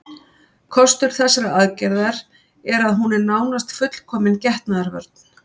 Kostur þessarar aðgerðar er að hún er nánast fullkomin getnaðarvörn.